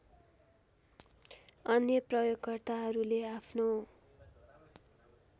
अन्य प्रयोगकर्ताहरूले आफ्नो